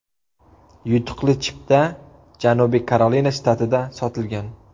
Yutuqli chipta Janubiy Karolina shtatida sotilgan.